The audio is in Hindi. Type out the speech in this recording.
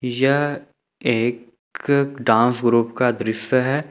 यह एक डांस ग्रुप का दृश्य है।